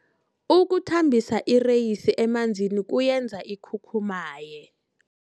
Ukuthambisa ireyisi emanzini kuyenza ikhukhumaye.